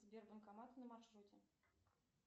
сбер банкоматы на маршруте